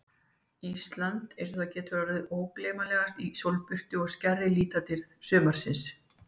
Ísland einsog það getur orðið ógleymanlegast í sólbirtu og skærri litadýrð síðsumarsins.